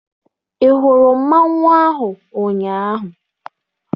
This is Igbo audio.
Ị hụrụ mmanwụ ahụ ụnyaahụ?